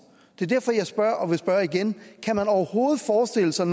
det er derfor at jeg spørger og vil spørge igen kan man overhovedet forestille sig